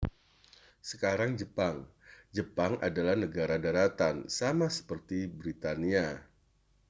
sekarang jepang jepang adalah negara daratan sama seperti britania